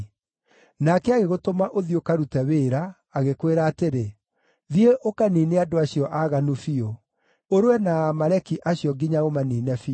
Nake agĩgũtũma ũthiĩ ũkarute wĩra, agĩkwĩra atĩrĩ, ‘Thiĩ ũkaniine andũ acio aaganu biũ; ũrũe na Aamaleki acio nginya ũmaniine biũ.’